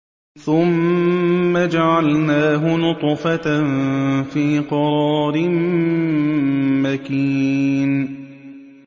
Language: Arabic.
ثُمَّ جَعَلْنَاهُ نُطْفَةً فِي قَرَارٍ مَّكِينٍ